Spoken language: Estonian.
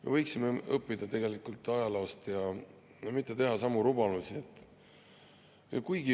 Me võiksime tegelikult ajaloost õppida ja mitte teha samu rumalusi.